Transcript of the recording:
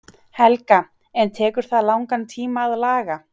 Helga: En tekur það langan tíma að laga?